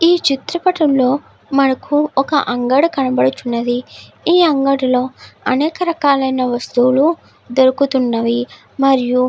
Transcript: ఈ చిత్రపటం లో మనకు ఒక అంగడి కనబడుచున్నది. ఈ అంగడి లో అనేక రకాలైన వస్తువులు దొరుకుతున్నవి మరియు --